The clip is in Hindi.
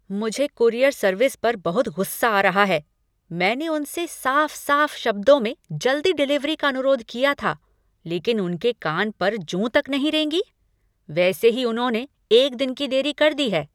मुझे कूरियर सर्विस पर बहुत गुस्सा आ रहा है। मैंने उनसे साफ साफ शब्दों में जल्दी डिलीवरी का अनुरोध किया था लेकिन उनके कान पर जूँ तक नहीं रेंगी। वैसे ही उन्होंने एक दिन की देरी कर दी है।